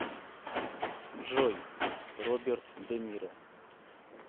джой роберт де ниро